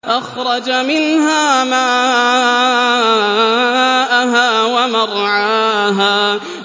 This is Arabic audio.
أَخْرَجَ مِنْهَا مَاءَهَا وَمَرْعَاهَا